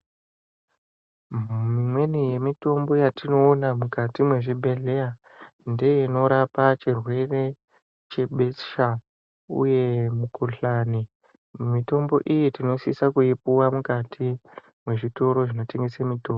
Mimweni mitombo yatinoona mukati mwezvibhedhleya ndeinorapa chirwere chebesha uye mukuhlani .Mitombo iyi tinosise kuipuwa mukati mwezvitoro zvinotengeswe mitombo .